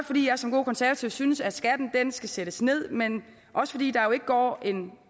fordi jeg som god konservativ synes at skatten skal sættes ned men også fordi der jo ikke går en